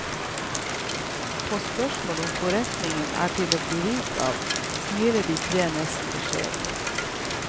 På spørsmål om forretningen er til å bli rik av, smiler de tre nesten beskjedent.